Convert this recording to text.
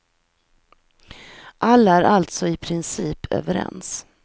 Alla är alltså i princip överens.